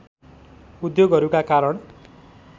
उद्योगहरूका कारण